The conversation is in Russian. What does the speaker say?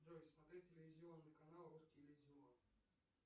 джой смотреть телевизионный канал русский иллюзион